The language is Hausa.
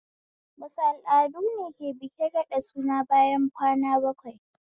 Wasu al'adune ke bikin raɗa suna bayan kwana bakwai?